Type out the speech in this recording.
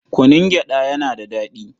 Kunun gyaɗa yana da daɗi.